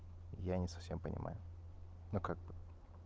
я не совсем понимаю но как бы